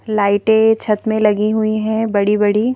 लाइटें छत में लगी हुई हैं बड़ी-बड़ी--